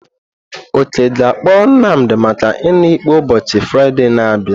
Oke ga-akpọrọ Nnamdi maka iṅụ ikpe ụbọchị Fraịde na-abịa.